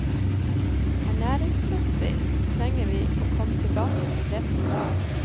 Ernæringsmessig trenger vi å komme tilbake til det som var.